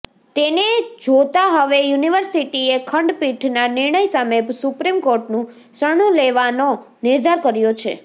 તેને જોતાં હવે યુનિર્વિસટીએ ખંડપીઠના નિર્ણય સામે સુપ્રીમ કોર્ટનું શરણું લેવાનો નિર્ધાર કર્યો છે